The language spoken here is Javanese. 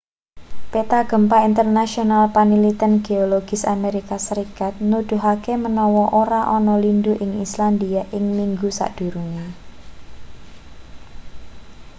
peta gempa internasional panliten geologis amerika serikat nuduhake manawa ora ana lindhu ing islandia ing minggu sadurunge